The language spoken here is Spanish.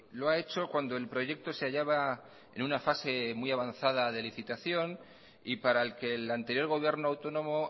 lo ha hecho cuando el proyecto se hallaba en una fase muy avanzada de licitación y para el que el anterior gobierno autónomo